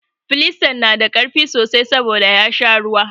Filistan na da ƙarfi sosai saboda ya sha ruwa.